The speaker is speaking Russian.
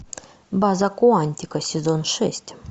база куантико сезон шесть